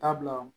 Taa bila